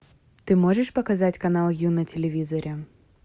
ты можешь показать канал ю на телевизоре